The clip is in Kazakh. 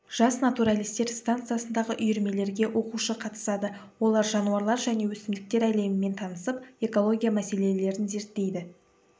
жас натуралистер стансасындағы үйірмелерге оқушы қатысады олар жануарлар және өсімдіктер әлемімен танысып экология мәселелерін зерттейді